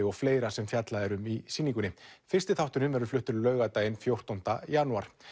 og fleira sem fjallað er um í sýningunni fyrsti þátturinn verður fluttur laugardaginn fjórtánda janúar